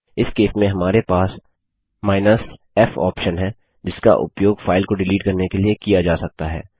इस केस में हमारे पास f ऑप्शन है जिसका उपयोग फाइल को डिलीट करने के लिए किया जा सकता है